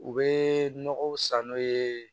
U bɛ nɔgɔw san n'o ye